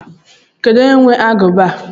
Kedu onye nwe aguba a?